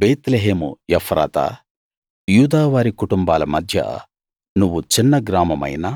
బేత్లెహేము ఎఫ్రాతా యూదావారి కుటుంబాల మధ్య నువ్వు చిన్న గ్రామమైనా